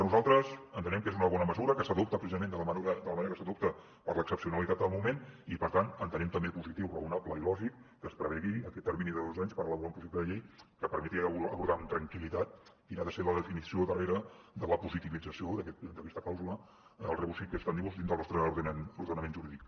nosaltres entenem que és una bona mesura que s’adopta precisament de la manera que s’adopta per l’excepcionalitat del moment i per tant entenem també positiu raonable i lògic que es prevegi aquest termini de dos anys per elaborar un projecte de llei que permeti abordar amb tranquil·litat quina ha de ser la definició darrere de la positivització d’aquesta clàusula del rebus sic stantibusjurídic